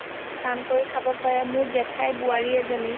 কাম কৰি খাব পাৰে মোৰ জেঠাইৰ বোৱাৰী এজনী